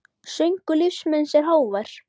Söngur lífs míns er hávær.